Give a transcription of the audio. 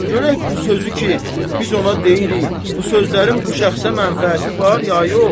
Görək bu sözü ki, biz ona deyirik, bu sözlərin bu şəxsə mənfəəti var ya yox?